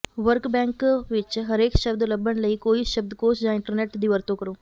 work bank ਵਿਚ ਹਰੇਕ ਸ਼ਬਦ ਲੱਭਣ ਲਈ ਕੋਈ ਸ਼ਬਦਕੋਸ਼ ਜਾਂ ਇੰਟਰਨੈਟ ਦੀ ਵਰਤੋਂ ਕਰੋ